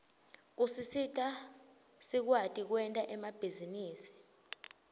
usisita sikwati kwenta emabhizinisi